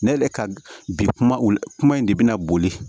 Ne de ka bi kumaw kuma in de bɛ na boli